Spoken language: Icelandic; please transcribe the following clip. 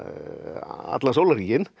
allan sólarhringinn